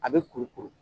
A bɛ kuru kuru